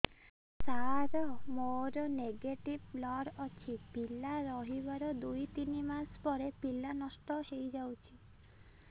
ସାର ମୋର negative blood ଅଛି ପିଲା ରହିବାର ଦୁଇ ତିନି ମାସ ପରେ ପିଲା ନଷ୍ଟ ହେଇ ଯାଉଛି